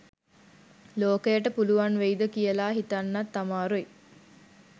ලෝකයට පුලුවන් වෙයිද කියලා හිතන්නත් අමාරුයි.